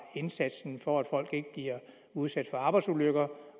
indsatsen for at folk ikke bliver udsat for arbejdsulykker